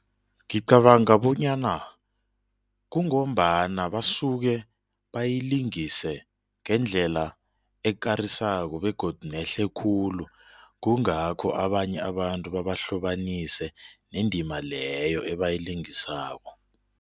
Ngicabanga bonyana kungombana basuke bayilingise ngendlela ekarisako begodu nehle khulu kungakho abanye abantu babahlobanise nendima leyo ebayilingisako.